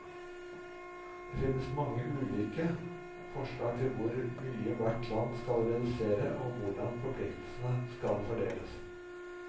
Det finnes mange ulike forslag til hvor mye hvert land skal redusere, og hvordan forpliktelsene skal fordeles.